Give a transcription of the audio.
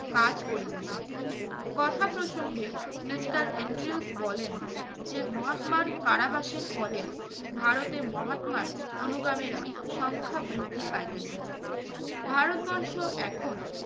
কাজ করিতেছেন। কথা প্রসঙ্গে mister এন্ড্রিউলফ বলেন যে মহাত্মার কারাবাসের ফলে ভারতে মহাত্মার অনুগামীরা সংখ্যা বৃদ্ধি পাইতেছে। ভারতবর্ষ এখন